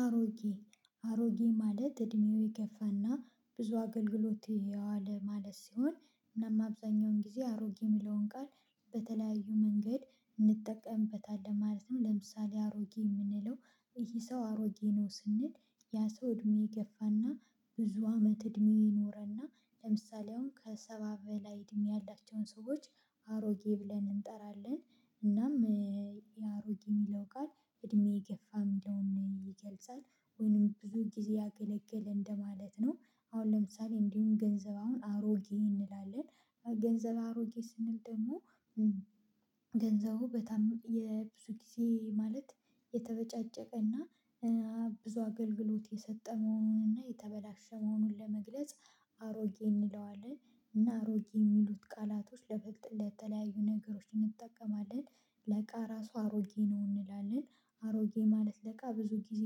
አሮጌ አሮጌ ማለት እድሜው የገፋና ብዙ አገልግሎት የዋለ ማለት ሲሆን እናም አብዛኛውን ጊዜ አሮጌ የሚለውን ቃል በተለያዩ መንገድ እንጠቀምበታለን ማለት ነው፤። ለምሳሌ አሮጌ የምንለው ይሄ ሰው አሮጌ ነው ስንል ያ ሰው እድሜ የገፋና ብዙ አመት እድሜ የኖረና ለምሳሌ አሁን ከሰባ በላይ እድሜ ያላቸውን ሰዎች አሮጌ ብለን እንጠራለን። እናም የአሮጌ የሚለው ቃል እድሜ የገፋም የሚለውን ይገልጻል ወይንም ብዙ ጊዜ ያገለገለ እንደማለት ነው። አሁን ለምሳሌ እንዲሁም ገንዘብ አሁን አሮጌ እንላለን ገንዘብ አሮጌ ስንል ደግሞ ገንዘቡ በታም የብዙ ጊዜ ማለት የተበጫጨቀና ብዙ አገልግሎት የሰጠ መሆኑንና የተበላሸ መሆኑን ለመግለጽ አሮጌ እንለዋለን። እና አሮጌ የሚሉት ቃላቶች ለበቅጥለት የተለያዩ ነገሮችን እንጠቀማለን ለቃ ራሱ አሮጌ ነው እንላለን። አሮጌ ማለት ለቃ ብዙ ጊዜ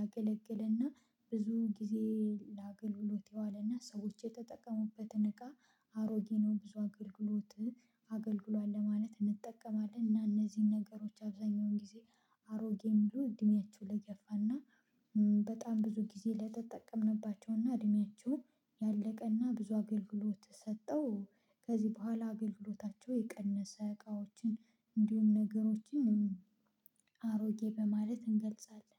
ያገለግልና ብዙ ጊዜ ለአገልግሎት የዋለና ሰዎች የተጠቀሙበትን እቃ አሮጌ ነው ብዙ አገልግሎት አገልግሏል ለማለት እንጠቀማለን። እና እነዚህን ነገሮች አብዛኛውን ጊዜ አሮጌ የሚለው እድሜያቸው ለገፋና በጣም ብዙ ጊዜ ለተጠቀምንባቸውና እድሜያቸውን ያለቀና ብዙ አገልግሎት ሰጠው ከዚህ በኋላ አገልግሎታቸው የቀነሰ እቃዎችን እንዲሁም ነገሮችን አሮጌ በማለት እንገልጻለን።